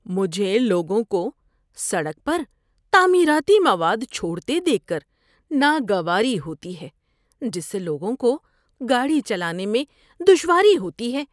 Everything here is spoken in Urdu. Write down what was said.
مجھے لوگوں کو سڑک پر تعمیراتی مواد چھوڑتے دیکھ کر ناگواری ہوتی ہے جس سے لوگوں کو گاڑی چلانے میں دشواری ہوتی ہے۔